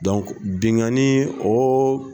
bingani